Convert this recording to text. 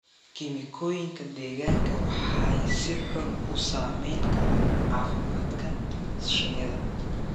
kiimikooyinka deegaanka waxay si xun u saamayn karaan caafimaadka shinnida